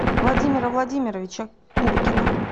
владимира владимировича куркина